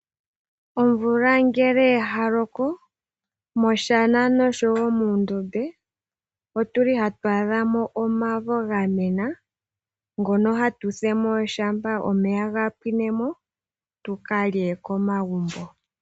Omvula ngele oya loko moshana noshowo moondombe otuli hatu adhamo omavo gamena ngono hatu fulumo ngele omeya gapwine tukalye komagumbo.